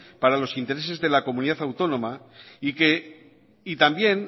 para los intereses de la comunidad autónoma y también